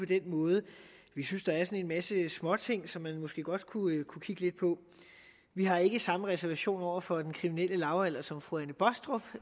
den måde vi synes at en masse småting som man måske godt kunne kigge lidt på vi har ikke samme reservation over for den kriminelle lavalder som fru anne baastrup